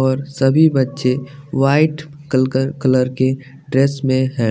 और सभी बच्चे वाइट कल कल कलर के ड्रेस में हैं।